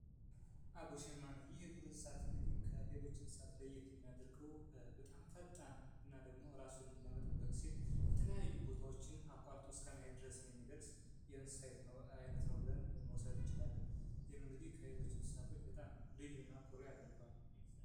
አቦ ሸማኔ ይህ እንስሳ ከሌሎች ለየት የሚያደርገው በጣም ፈጣን እና ደግሞ ራሱን ለመጠበቅ ሲል የተለያዩ ቦታዎችን አቋርጦ እስከመሄደሰ ድረስ የሚደርስ የእንስሳ አይነት ነው ብለን መውሰድ እንችላለን። ይህም ከሌሎች እንስሳት ልዩ እና ኩሩ ያደርገዋል።